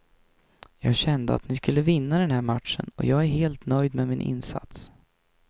Jag kände att vi skulle vinna den här matchen, och jag är helt nöjd med min insats.